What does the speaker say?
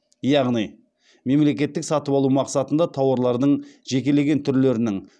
яғни мемлекеттік сатып алу мақсатында тауарлардың жекелеген түрлерінің